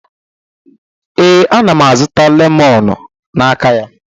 Ee, ana m azụta lemoonu n'aka ya.